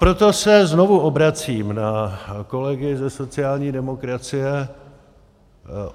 Proto se znovu obracím na kolegy ze sociální demokracie.